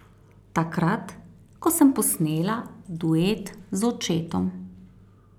Takrat, ko sem posnela duet z očetom.